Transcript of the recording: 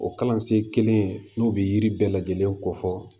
O kalansen kelen in n'u bi yiri bɛɛ lajɛlen ko fɔ